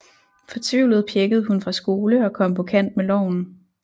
Fortvivlet pjækkede hun fra skole og kom på kant med loven